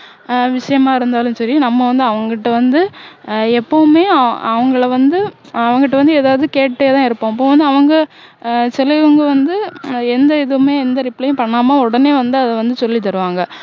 ஆஹ் விஷயமா இருந்தாலும் சரி நம்ம வந்து அவங்கட்ட வந்து ஆஹ் எப்பவுமே அவங்களை வந்து அவங்கட்ட வந்து எதாவது கேட்டுட்டே தான் இருப்பம் அப்போ வந்து அவங்க ஆஹ் சிலவங்க வந்து எந்த இதுவுமே எந்த reply உம் பண்ணாம உடனே வந்து அதை வந்து சொல்லி தருவாங்க